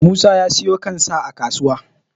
musa ya siyo kan sa a kasuwa